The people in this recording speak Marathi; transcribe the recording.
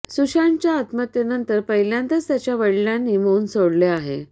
सुशांतच्या आत्महत्येनंतर पहिल्यांदाच त्याच्या वडिलांनी मौन सोडले आहे